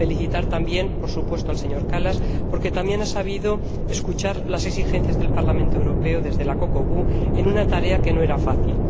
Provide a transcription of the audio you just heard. Deseo felicitar también, por supuesto, al señor Kallas, porque también ha sabido escuchar las exigencias del Parlamento Europeo desde la COCOBU, en una tarea que no era fácil.